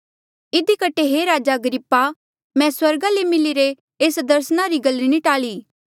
इधी कठे हे राजा अग्रिप्पा मैं स्वर्गा ले मिलिरे एस दर्सना री गल नी टाल्ली